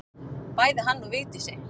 Bæði hann og Vigdísi.